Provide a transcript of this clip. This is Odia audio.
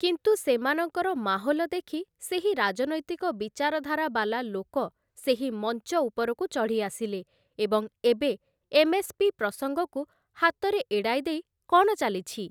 କିନ୍ତୁ ସେମାନଙ୍କର ମାହୋଲ ଦେଖି ସେହି ରାଜନୈତିକ ବିଚାରଧାରା ବାଲା ଲୋକ ସେହି ମଂଚ ଉପରକୁ ଚଢ଼ି ଆସିଲେ ଏବଂ ଏବେ ଏମ୍ଏସ୍‌ପି ପ୍ରସଙ୍ଗକୁ ହାତରେ ଏଡ଼ାଇଦେଇ କ ଣ ଚାଲିଛି?